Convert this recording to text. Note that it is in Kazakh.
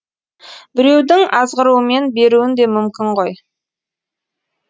біреудің азғыруымен беруін де мүмкін ғой